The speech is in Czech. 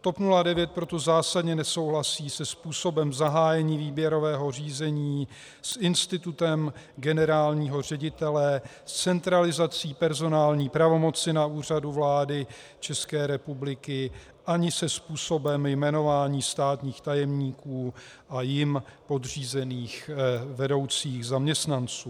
TOP 09 proto zásadně nesouhlasí se způsobem zahájení výběrového řízení, s institutem generálního ředitele, s centralizací personální pravomoci na Úřadu vlády České republiky ani se způsobem jmenování státních tajemníků a jim podřízených vedoucích zaměstnanců.